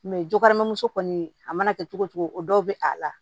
jogɛrɛmuso kɔni a mana kɛ cogo cogo o dɔw bɛ a la